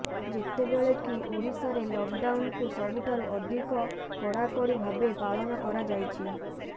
ଯେତେବେଳେକି ଓଡ଼ିଶାରେ ଲକ୍ଡାଉନକୁ ସବୁଠାରୁ ଅଧିକ କଡ଼ାକଡ଼ି ଭାବେ ପାଳନ କରାଯାଇଛି